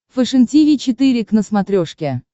фэшен тиви четыре к на смотрешке